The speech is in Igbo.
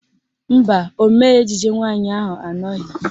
Mba, ọmee ejije nwaanyị ahụ anọghị